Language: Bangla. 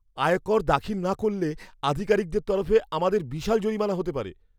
আয়কর দাখিল না করলে, আধিকারিকদের তরফে আমাদের বিশাল জরিমানা হতে পারে।